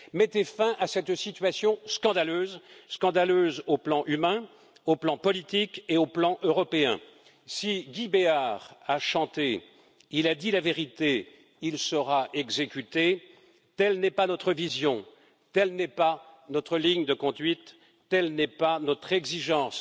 Mettez fin à cette situation scandaleuse sur le plan humain, politique et européen. Si Guy Béart a chanté Il a dit la vérité, il sera exécuté, telle n'est pas notre vision, telle n'est pas notre ligne de conduite, telle n'est pas notre exigence.